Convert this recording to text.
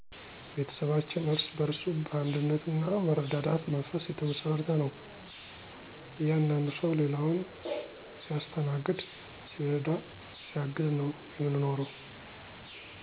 ቤተሰባችን እርስ በእርሱ በአንድነት ና መረዳዳት መንፈስ የተመሰረተ ነው። እያንዳንዱ ሰው ሌላውን ሲያስተናግድ ሲረዳ ሲያግዝ ነው የምንኖረው።